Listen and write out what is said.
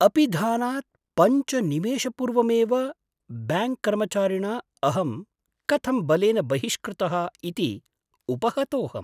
अपिधानात् पञ्च निमेषपूर्वमेव ब्याङ्क्कर्मचारिणा अहं कथं बलेन बहिष्कृतः इति उपहतोहम्।